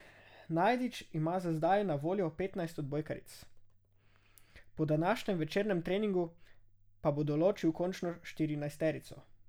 Najdič ima za zdaj na voljo petnajst odbojkaric, po današnjem večernem treningu pa bo določil končno štirinajsterico.